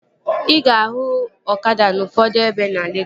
Ị ga-ahụ ọkada n'ufodu ebe na Legọs